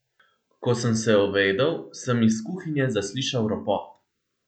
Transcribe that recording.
Ko sem se ovedel, sem iz kuhinje zaslišal ropot.